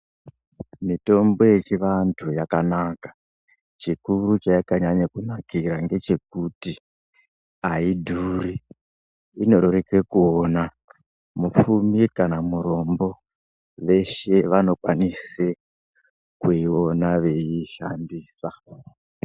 Mitombo yechivantu yakanaka. Chikuru chayakanyanya kunakira ngechekuti haidhuri inorereka kuiona. Mupfumi kana murombo veshe vanokwanise vanokwanisa kuiona veiishandisa.